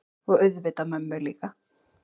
Og auðvitað mömmu líka.